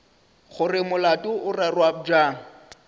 gore molato o rerwa bjang